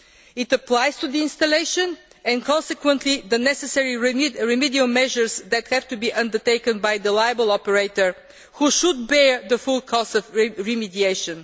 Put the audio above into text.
It applies to the installation and consequently, the necessary remedial measures that have to be undertaken, by the liable operator who should bear the full cost of remediation.